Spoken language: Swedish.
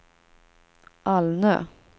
Alnö